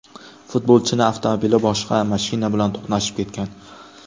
Futbolchining avtomobili boshqa mashina bilan to‘qnashib ketgan.